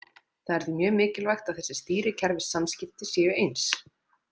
Það er því mjög mikilvægt að þessi stýrikerfissamskipti séu eins.